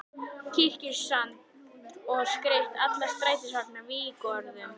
Kirkjusand og skreytt alla strætisvagnana vígorðum.